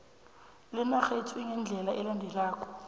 lenarhethu lingendlela elandelako